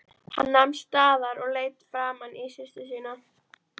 Hann nam staðar og leit framan í systur sína.